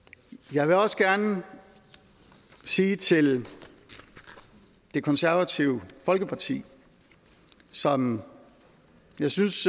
jeg vil også gerne sige til det konservative folkeparti som jeg synes